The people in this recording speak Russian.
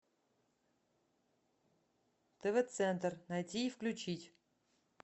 тв центр найти и включить